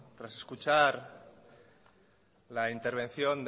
tras escuchar la intervención